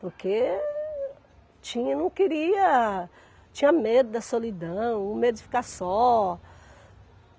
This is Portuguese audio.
Porque tinha, não queria, tinha medo da solidão, medo de ficar só.